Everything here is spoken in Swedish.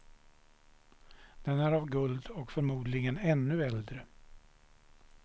Den är av guld och förmodligen ännu äldre.